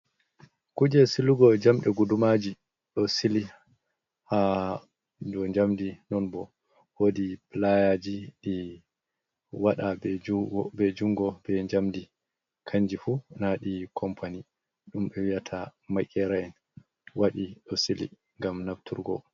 Kuje silugo jamɗe guɗumaji. Ɗo sili ha ɗow jamɗi. Non bo woɗi pulayaji ɗi waɗa be jungo be jamɗi. Kanji fu naɗi kompani. Ɗumbe wi'ata makera en waɗi osili ngam nafturgo.